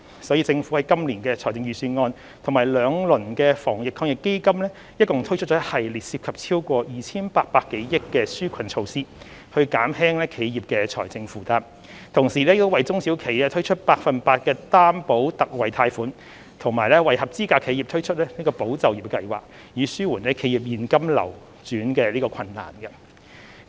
所以，政府今年的財政預算案及兩輪防疫抗疫基金共推出一系列涉及超過 2,800 多億元的紓困措施，減輕企業的財政負擔，同時亦為中小企推出百分百擔保特惠貸款和為合資格企業推出"保就業"計劃，以紓緩企業現金流轉困難。